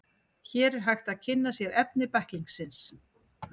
Hér er hægt að kynna sér efni bæklingsins.